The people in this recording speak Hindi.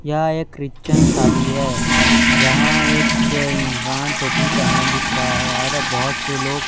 यहां एक क्रिश्चियन शादी है जहां एक इंसान टोपी पेहने दिख रहा है और बहोत से लोग--